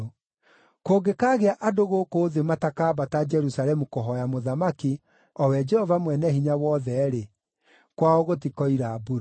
Kũngĩkaagĩa andũ gũkũ thĩ matakaambata Jerusalemu kũhooya Mũthamaki, o we Jehova Mwene-Hinya-Wothe-rĩ, kwao gũtikoira mbura.